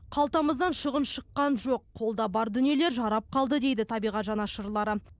қалтамыздан шығын шыққан жоқ қолда бар дүниелер жарап қалды дейді табиғат жанашырлары